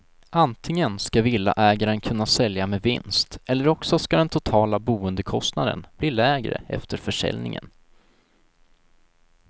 Antingen ska villaägaren kunna sälja med vinst, eller också ska den totala boendekostnaden bli lägre efter försäljningen.